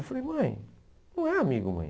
Eu falei, mãe, não é amigo, mãe.